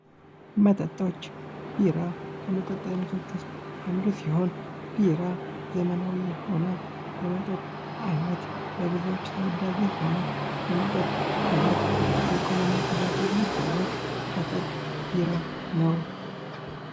በአጠቃላይ በኢትዮጵያ ውስጥ የተለያዩ አይነት መጠጦች የሚዘጋጁ ሲሆን፣ ጠላ፣ ቢራና አረቂ ከዋና ዋናዎቹ መካከል ይጠቀሳሉ። እነዚህ መጠጦች የራሳቸው የሆነ ባህላዊና ማህበራዊ ትርጉም ያላቸው ሲሆን፣ በአገራችን ባህልና የአኗኗር ዘይቤ ውስጥ ትልቅ ቦታ አላቸው።